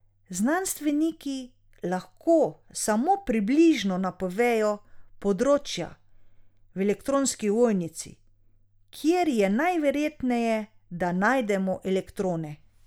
Znanstveniki lahko samo približno napovejo področja v elektronski ovojnici, kjer je najverjetneje, da najdemo elektrone.